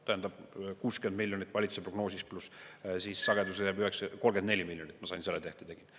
Tähendab, 60 miljonit valitsuse prognoosis, pluss sagedusele 34 miljonit, mille ma sain, kui selle tehte tegin.